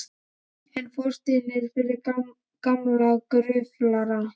En fortíðin er fyrir gamla gruflara.